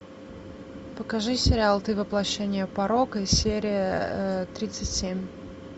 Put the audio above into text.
покажи сериал ты воплощение порока серия тридцать семь